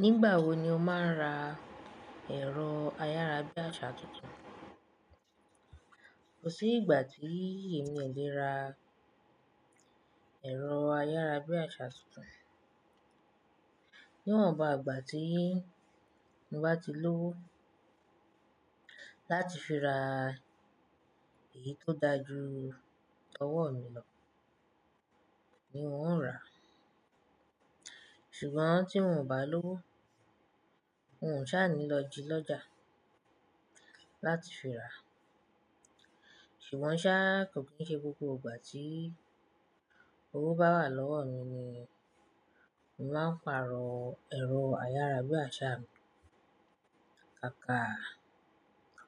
Nígbà wo ni o máa ń ra ẹ̀rọ ayára bí àṣá tuntun? Kò sí ìgbà tí èmi o lé ra ẹ̀rọ ayára bí àṣá tuntun. Níwọn bàá gbà tí n bá ti lówó láti fi ra èyí tó da ju ọwọ́ mi lọ ni mò ń rà. Ṣùgbọ́n tí mò ń bá lówó, n ò ṣá ni lọ ji lọ́jà láti fi ra. Ṣùgbọ́n ṣá kò kí ń ṣe gbogbo ìgbà tí owó bá wà lọ́wọ́ mi ni màá ń pàrọ̀ ẹ̀rọ ayára bí àṣá mi. Kàkà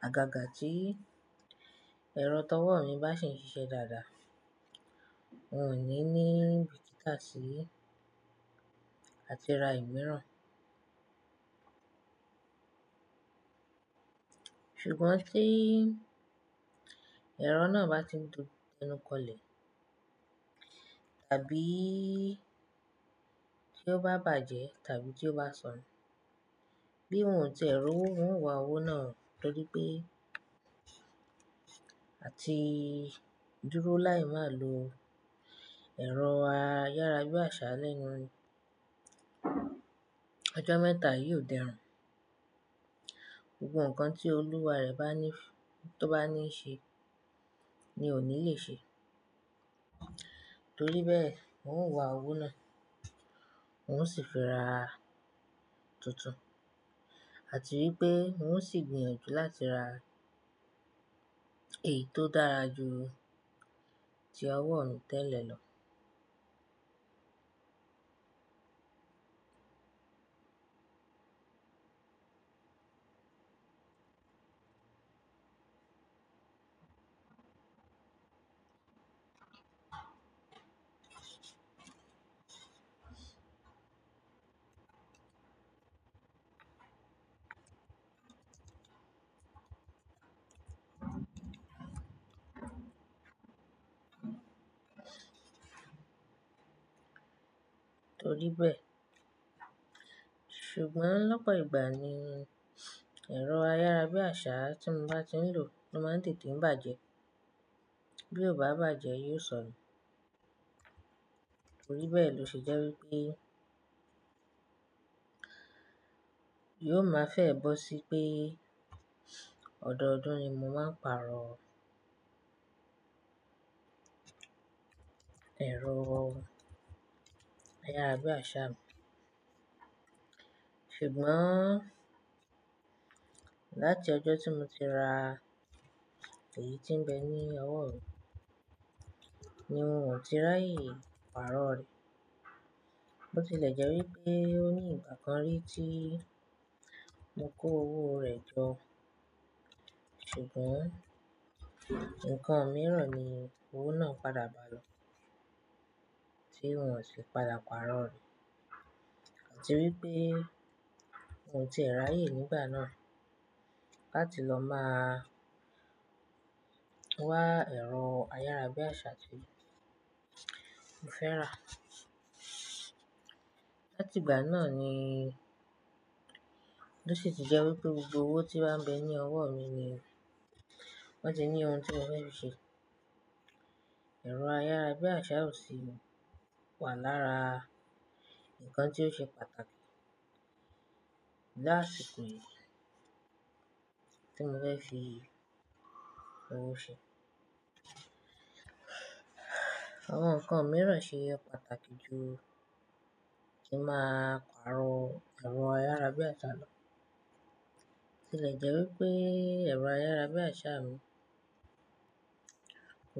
àgàgà tí ẹ̀rọ ọwọ́ mi bá sì ń ṣiṣẹ́ dáadáa, n ò ní ní bíkítà sí àti ra ìmíràn. Ṣùgbọ́n tí ẹ̀rọ náà bá ti ń dénúkọlẹ̀, tàbí tí ó bá bàjẹ́ tàbí tí ó bá sọnù, bí ohun tí ẹ̀rọ ń wá owó náà torí pé a ti dúró láì máa lo ẹ̀rọ ayára bí àṣá lẹ́nu ojó mẹ́ta yóò dẹrùn. Gbogbo ǹkan tí olúwa rẹ̀ bá ní f-- tó bá níí ṣe ni ò ní le ṣe. Torí bẹ́ẹ̀ n ó ń wá owó náà, n ó sì fi ra tuntun. Àti wípé n ó sì gbìyànjú láti ra èyí tó dára ju ti ọwọ́ mi tẹ́lẹ̀ lọ. Torí bẹ́ẹ̀. Ṣùgbọ́n lọ́pọ̀ ìgbà ni ẹ̀rọ ayára bí àṣá tí mò ń bá ti ń lò ló máa ń tètè bàjẹ́. Bí ó bá bàjẹ́ yóò sọnù. Torí bẹ́ẹ̀ lọ ṣe jẹ́ wípé yóò máa fẹ́ ẹ bó sí pé ọ̀dọ̀ọdún ni mò máa ń pàrọ̀ ẹ̀rọ ayára bí àṣá mi. Ṣùgbọ́n láti ọjọ́ tí mo ti ra èyí tí ń bẹ ní ọwọ́ mi ni mò ń ti rà yìí pàrọ̀ rẹ̀. Ó ti lè jẹ́ wípé ó ní ìgbà kan rí tí mo kó owó rẹ̀ jọ. Ṣùgbọ́n ǹkan mìíràn ni owó náà padà bá lọ tí n ò sì padà pàrọ̀ rẹ̀. Àti wípé ohun tí èèrà yìí nígbà náà láti lọ máa wá ẹ̀rọ ayára bí àṣá tí mo fẹ́ rà. Láti ìgbà náà ni ó sì ti jẹ́ wípé gbogbo owó tí bá ń bẹ ní ọwọ́ mi ni wọ́n ti ní ohun tí mò ń fẹ́ fi ṣe. Ẹ̀rọ ayára bí àṣá ò sì wà lára ǹkan tí ó ṣe pàtàkì láti pé tí mò fẹ́ fi owó ṣe. Awon ǹkan mìíràn ṣe é pàtàkì ju tí màá pàrọ̀ ẹ̀rọ ayára bí àṣá lọ. Ó sì lè jẹ́ wípé ẹ̀rọ ayára bí àṣá mi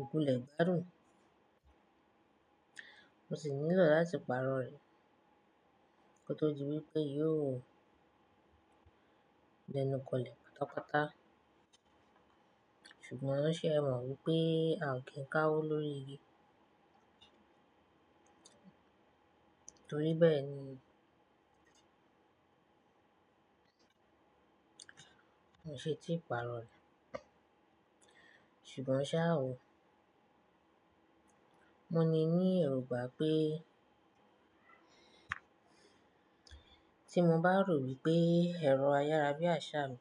òkú lè gbárùn. Mo sì nílò láti pàrọ̀ rẹ̀ kí ó tó di wípé yóò dẹ́núkọlẹ̀ pátápátá. Ṣùgbọ́n ó ṣe é mọ̀ wípé a ò kí ń ká owó lórí igi. Torí bẹ́ẹ̀ ni mo ṣe ti pàrọ̀ rẹ̀. Ṣùgbọ́n ṣá wò, mo ní ní èrùgbà pé tí mo bá rò wípé ẹ̀rọ ayára bí àṣá mi.